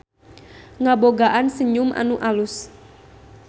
Ngabogaan senyum anu alus.